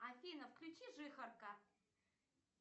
афина включи жихарка